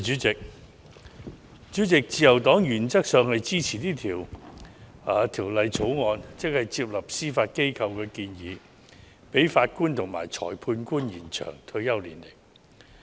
主席，自由黨原則上支持《2019年司法人員條例草案》，即接納司法機構的建議，延展法官和裁判官的退休年齡。